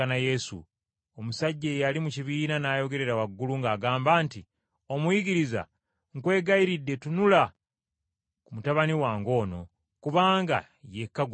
Omusajja eyali mu kibiina n’ayogerera waggulu ng’agamba nti, “Omuyigiriza, nkwegayiridde tunula ku mutabani wange ono kubanga yekka gwe nnina.